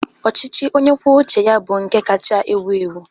Ọchịchị onye kwuo uche ya bụ nke kacha ewu ewu.